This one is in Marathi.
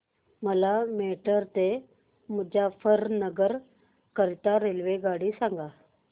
मला मेरठ ते मुजफ्फरनगर करीता रेल्वेगाडी सांगा